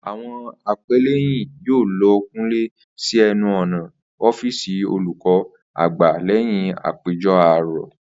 Àwo̩n apé̩lé̩yìn yóò lo̩ kúnlè̩ sí e̩nu ò̩nà ó̩fíìsì olùkó̩ àgbà lé̩yìn àpéjo̩ àárò̩